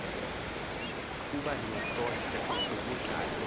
koba niyasondla kukadla